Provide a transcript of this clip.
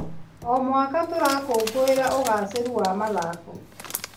O mwaka, tũrakũngũĩra ũgacĩĩru wa mathako.